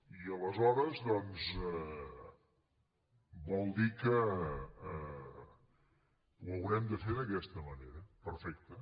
i aleshores vol dir que ho haurem de fer d’aquesta manera perfecte